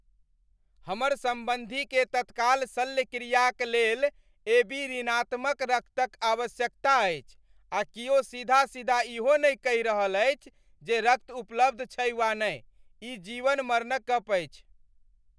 हमर सम्बन्धीकेँ तत्काल शल्यक्रियाक लेल एबी ऋणात्मक रक्तक आवश्यकता अछि, आ कियो सीधा सीधा इहो नहि कहि रहल अछि जे रक्त उपलब्ध छै वा नहि। ई जीवन मरणक गप अछि!